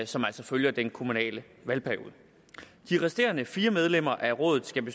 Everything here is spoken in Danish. som altså følger den kommunale valgperiode de resterende fire medlemmer af rådet skal